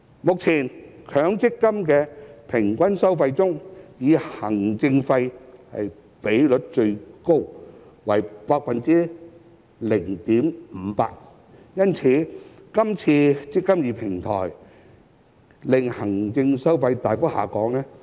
目前，強積金的平均收費中以行政費的比率最高，為 0.58%， 因此，今次的"積金易"平台旨在令行政費大幅下降。